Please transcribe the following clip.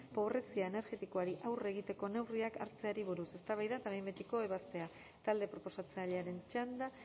pobrezia energetikoari aurre egiteko neurriak hartzeari buruz eztabaida eta behin betiko ebazpena talde proposatzailearen txanda